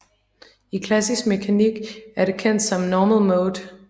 I klassisk mekanik er det kendt som normal mode